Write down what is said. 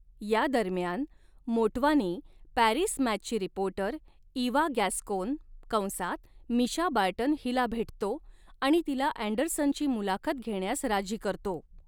यादरम्यान, मोटवानी पॅरिस मॅचची reporter Eva Gascon कंसात मिशा बार्टन हिला भेटतो आणि तिला अँडरसनची मुलाखत घेण्यास राजी करतो.